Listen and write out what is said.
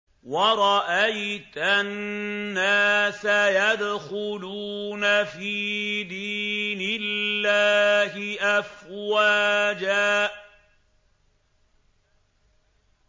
وَرَأَيْتَ النَّاسَ يَدْخُلُونَ فِي دِينِ اللَّهِ أَفْوَاجًا